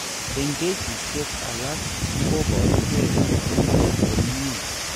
Eng' kesishek alak koborugee kabarunoik komnyie.